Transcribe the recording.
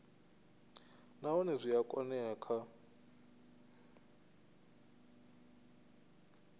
nahone zwi a oea kha